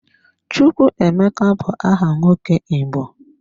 Chukwuemeka bu aha nwoke Igbo.